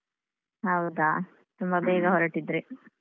ಹೌದಾ ತುಂಬ ಬೇಗ ಹೊರಟಿದ್ರಿ.